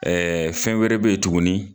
fɛn wɛrɛ be yen tuguni